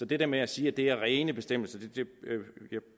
det der med at sige at det er rene bestemmelser vil